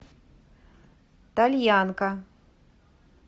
тальянка